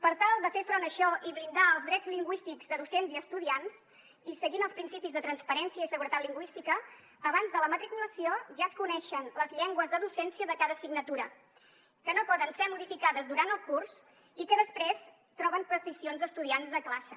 per tal de fer front a això i blindar els drets lingüístics de docents i estudiants i seguint els principis de transparència i seguretat lingüística abans de la matriculació ja es coneixen les llengües de docència de cada assignatura que no poden ser modificades durant el curs i que després troben peticions d’estudiants de classe